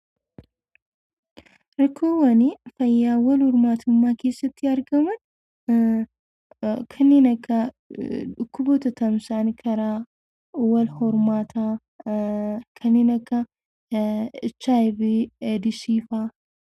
Rakkoowwan fayyaa wal hormaatummaa keessatti argaman kanneen akka dhukkuboota tamsa'an karaa wal hormaataa kanneen akka HIV eedsii faa.